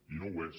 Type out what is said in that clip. i no ho és